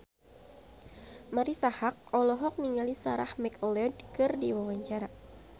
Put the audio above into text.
Marisa Haque olohok ningali Sarah McLeod keur diwawancara